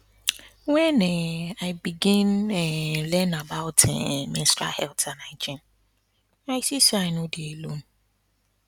when um i begin um learn about um menstrual health and hygiene i see say i no dey alone